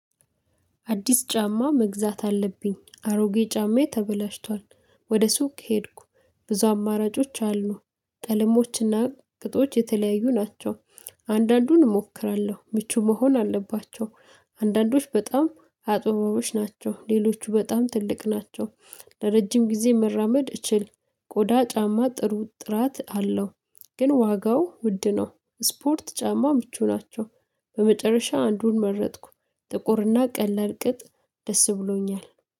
አዲስ ጫማ መግዛት አለብኝ አሮጌ ጫማዬ ተበላሽቷል ወደ ሱቅ ሄድኩ ብዙ አማራጮች አሉ ቀለሞችና ቅጦች የተለያዩ ናቸው አንዳንዱን እሞክራለሁ ምቹ መሆን አለባቸው አንዳንዶች በጣም አጥብቦች ናቸው ሌሎቹ በጣም ትልቅ ናቸው። ለረጅም ጊዜ መራመድ እችል ቆዳ ጫማ ጥሩ ጥራት አለው። ግን ዋጋው ውድ ነው ስፖርት ጫማ ምቹ ናቸው በመጨረሻ አንዱን መረጥኩ ጥቁርና ቀለል ቅጥ ደስ ብሎኛል።